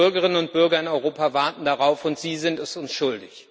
Die Bürgerinnen und Bürger in Europa warten darauf, und Sie sind es uns schuldig.